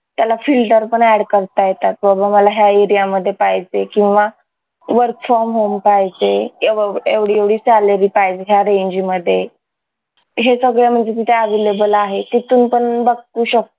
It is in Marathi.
त्याला filter पण add करता येतात बाबा मला ह्या area मध्ये पाहिजे किंवा work from home पाहिजे एवढी एवढी salary पाहिजे ह्या range मध्हे सगळं म्हणजे मी त्या available आहे तिथून पण बघू शकतो